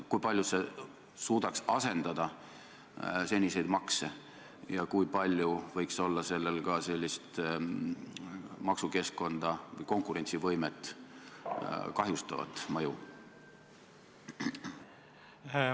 Kui palju see suudaks asendada seniseid makse ja kui suur võiks olla selle maksukeskkonda, konkurentsivõimet kahjustav mõju?